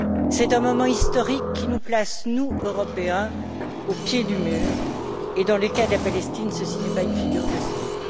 C'est un moment historique qui nous place, nous Européens, au pied du mur, et dans le cas de la Palestine, ceci n'est pas une figure de style.